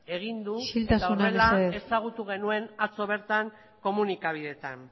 egin du eta horrela ezagutu genuen atzo bertan komunikabideetan